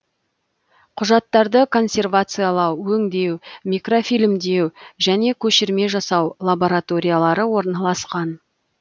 құжаттарды консервациялау өңдеу микрофильмдеу және көшірме жасау лабораториялары орналасқан